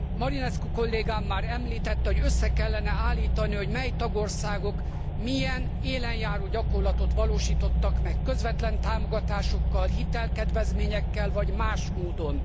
Marinescu kollégám már említette, hogy össze kellene állítani, hogy mely tagországok milyen élenjáró gyakorlatot valósítottak meg közvetlen támogatásokkal, hitelkedvezményekkel vagy más módon.